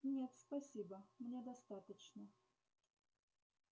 нет спасибо мне достаточно